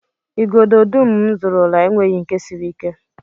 Igodo dum m zụrụla enweghị nke siri ike